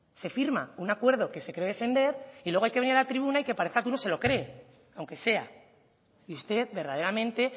se firma un acuerdo que se cree defender y luego hay que venir a la tribuna y que parezca que uno se lo cree aunque sea y usted verdaderamente